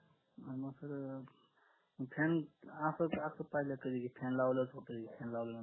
अन मग sirfan असं अह fan लावल्यावरच होत fan लावल्यावर